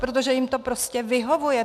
Protože jim to prostě vyhovuje.